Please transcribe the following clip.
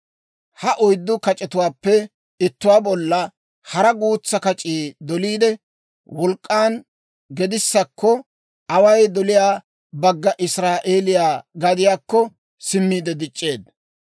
Ha oyddu kac'etuwaappe ittuwaa bolla hara guutsaa kac'ii doliide, wolk'k'an gedissakko, away doliyaa bagga Israa'eeliyaa gadiyaakko simmiide dic'c'eedda.